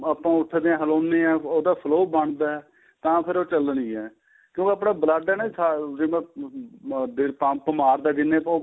ਆਪਾਂ ਉੱਠਦਿਆਂ ਹਲਾਉਣੇ ਆਂ ਉਹਦਾ flow ਬਣਦਾ ਤਾਂ ਫ਼ਿਰ ਉਹ ਚੱਲਦੀ ਏ ਕਿਉਂ ਆਪਣਾ blood ਏ ਜਿਹੜਾ pump ਮਾਰਦਾ ਜਿੰਨੇ ਆਪਾਂ